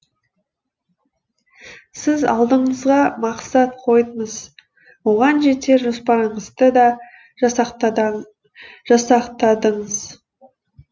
сіз алдыңызға мақсат қойдыңыз оған жетер жоспарыңызды да жасақтадыңыз